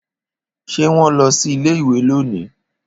Ṣé wón lọ sí ilé-ìwé lónìí?